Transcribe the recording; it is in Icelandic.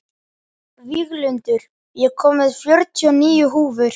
Víglundur, ég kom með fjörutíu og níu húfur!